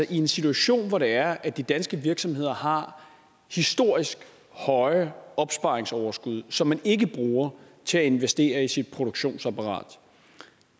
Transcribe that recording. i en situation hvor det er at de danske virksomheder har historisk høje opsparingsoverskud som man ikke bruger til at investere i sit produktionsapparat